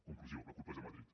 conclusió la culpa és de madrid